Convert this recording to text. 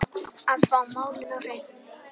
Að fá málin á hreint